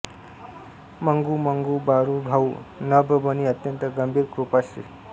मंगू मंगू बारू भाऊ नभ बनी अत्यंत गंभीर कृपा श्री